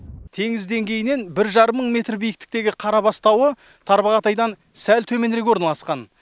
теңіз деңгейінен бір жарым мың метр биіктіктегі қарабас тауы тарбағатайдан сәл төменірек орналасқан